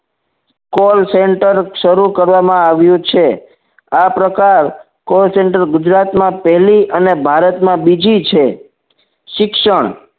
call center શરૂ કરવામાં આવ્યું છે આ પ્રકાર call center ગુજરાત માં પહેલી અને ભારતમાં બીજી છે શિક્ષણ